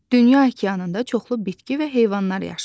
Dünya okeanında çoxlu bitki və heyvanlar yaşayır.